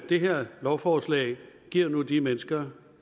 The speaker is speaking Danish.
det her lovforslag giver nu de mennesker